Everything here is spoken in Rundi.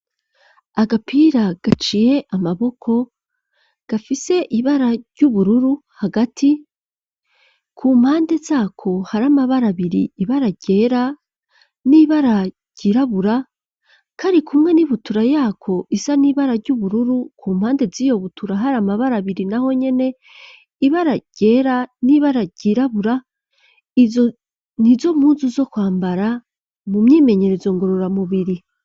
Agapira gaciye amaboko gafise ibara ry'ubururu hagati ku mpande zako hari amabara abiri, ibara ryera n'ibara ryirabura, kari kumwe n'ibutura yako isa n'ibara ry'ubururu ku mpande z'iyo butura hari amabara abiri naho nyene, ibara ryera n'ibara ryirabura, izo ni zo mpuzu zo kwambara mu myimenyerezo ngorora mu biri.